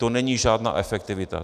To není žádná efektivita.